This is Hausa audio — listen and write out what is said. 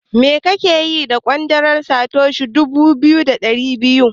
Me kake yi da ƙwandalar Satoshi guda dubu ɗari biyu?